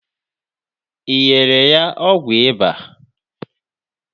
Ị nyela ya ọgwụ ịba?